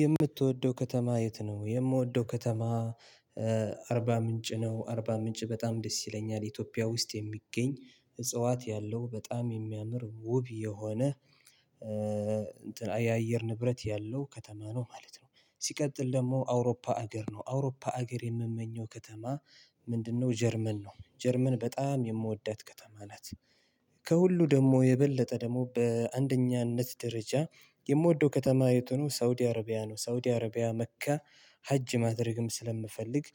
የምትወደው ከተማ የት ነው? የምወደው ከተማ አርባ ምንጭ ነው አርባ ምንጭ በጣም ደስ ይለኛል ኢትዮጵያ ውስጥ የሚገኝ እጽዋት ያለው በጣም የሚያምር ውብ የሆነ እንትን የአየር ንብረት ያለው ከተማ ነው ማለት ነው። ሲቀጥል ደግሞ አውሮፓ አገር ነው አውሮፓ አገር የምመኘው ከተማ ምንድነው? ጀርመን ነው ጀርመን በጣም የምወዳት ከተማ ናት። ከሁሉ ደግሞ የበለጠ ደግሞ በአንደኛነት ደረጃ የምወደው ከተማይ የቱ ነው? ሳውዲ አረቢያ ነው ሳውዲ አረቢያ መካ ሐጅ ማድረግም ስለምፈልግ።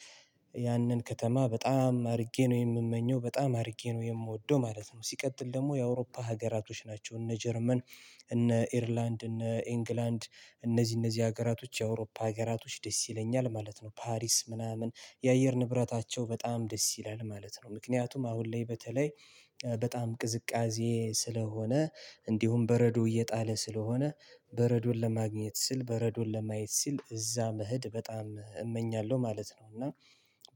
ያንን ከተማ በጣም አድርጌ ነው የምመኘው በጣም አድርጌ ነው የምወደው ማለት ነው። ሲቀጥል ደግሞ የአውሮፓ ሀገራቶች ናቸው እነ ጀርመን እነ አየርላንድ እነ እንግላንድ እነዚህ እነዚህ ሀገራቶች የአውሮፓ ሀገራቶች ደስ ይለኛል ማለት ነው። ፓሪስ ምናምን የአየር ንብረታቸው በጣም ደስ ይላል ማለት ነው። ምክንያቱም አሁን ላይ በተለይ በጣም ቅዝቃዜ ስለሆነ እንዲሁም በረዶ እየጣለ ስለሆነ በረዶን ለማግኘት ስል በረዶን ለማየት ስል እዛ መሄድ በጣም እመኛለሁ ማለት ነው። እና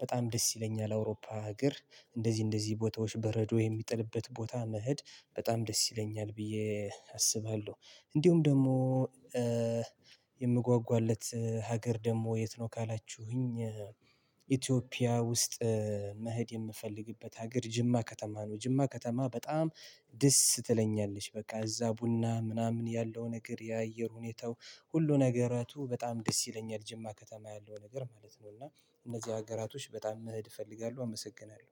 በጣም ደስ ይለኛል እአውሮፓ ሀገር እንደዚህ እንደዚህ ቦታዎች በረዶ የሚጥልበት ቦታ መሄድ በጣም ደስ ይለኛል ብዬ አስባለሁ። እንዲሁም ደግሞ ምጓጓለት ሀገር ደግሞ የት ነው ካላችሁኝ? ኢትዮጵያ ውስጥ መሄድ የምፈልግበት ሀገር ጅማ ከተማ ነው። ጅማ ከተማ በጣም ደስ ትለኛለች በቃ እዛ ቡና ምናምን ያለው ነገር የአየር ሁኔታው ሁሉ ነገራቱ በጣም ደስ ይለኛል ጅማ ከተማ ያለው ነገር ማለት ነው። እና እነዚህ ሀገራቶች በጣም መሄድ እፈልጋለሁ አመሰግናለሁ